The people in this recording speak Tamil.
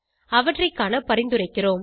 அவற்றை காண பரிந்துரைக்கிறோம்